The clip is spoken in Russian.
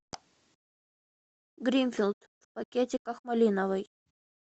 гринфилд в пакетиках малиновый